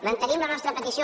mantenim la nostra petició